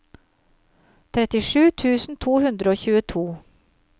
trettisju tusen to hundre og tjueto